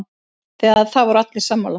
Það voru allir sammála.